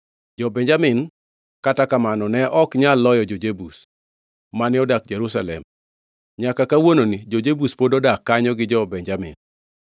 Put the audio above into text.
Jo-Benjamin, kata kamano, ne ok nyal loyo jo-Jebus, mane odak Jerusalem; nyaka kawuononi jo-Jebus pod odak kanyo gi jo-Benjamin.